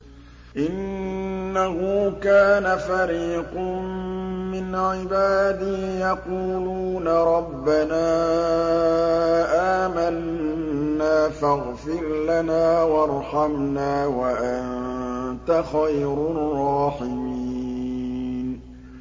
إِنَّهُ كَانَ فَرِيقٌ مِّنْ عِبَادِي يَقُولُونَ رَبَّنَا آمَنَّا فَاغْفِرْ لَنَا وَارْحَمْنَا وَأَنتَ خَيْرُ الرَّاحِمِينَ